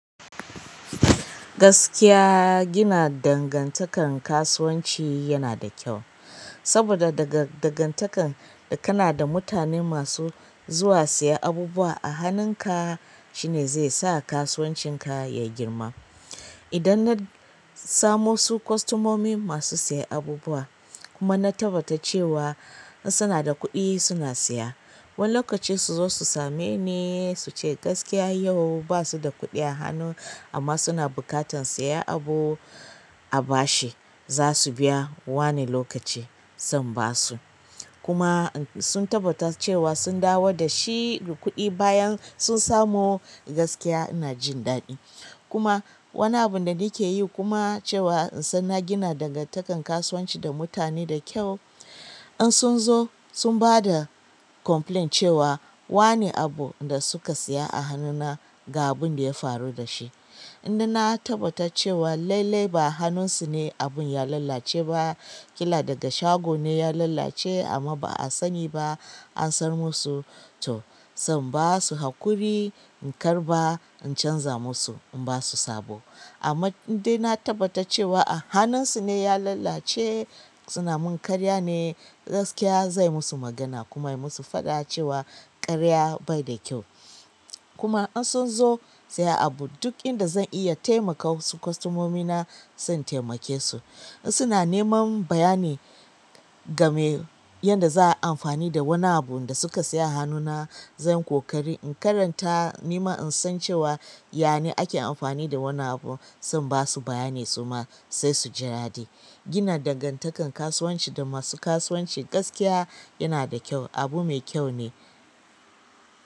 Gaskiya gina dangantakan kasuwanci yanada kyau saboda daga dangantakar da kana da mutane masu zuwa siya abubuwa a hannunka shine zai sa kasuwancin ka ya girma. Idan na samo su kostomomi masu siya abubuwa kuma na tabbata cewa in suna da kuɗi suna siya. Wani lokaci suzo su same ni suce gaskiya yau basu da kuɗi a hannu amma suna buƙatan siya abu a bashi zasu biyawani lokaci zan basu. Kuma sun tabbata cewa sun dawo da shi kuɗi bayan sun samu gaskiya ina jin daɗi. Kuma wani abun da nake yi kuma cewa in san na gina dangantakar kasuwanci da mutane da kyau. In sun zo sun bada komfilayin cewa wane abu da suka siya a hannuna ga abun da ya faru da shi. Inda na tabbata cewa lailai ba hannunsu ne abun ya lalace ba. Ƙila daga shago ne ya lalace amma ba a sani ba an san musu to zan basu haƙuri in karɓa in canza musu in basu sabo. Amma inda na tabbata cewa a hannunsu ne ya lalace suna min karya ne gaskiya zai musu magana kuma ya musu faɗa cewa karya bai da kyau. Kuma in sunzo siyan abu duk inda zan iya taimaka kostomomina zan taimake su in suna neman bayani game yanda za a amfani da wani abu da suka siya a hannuna zan ƙoƙari in karanta nima in san cewa yane ake amfani da wannan abu zan basu bayani su ma sai su ji daɗi. Gina dangantakar kasuwanci da masu kasuwanci gaskiya yana da kyau abu mai kyau ne.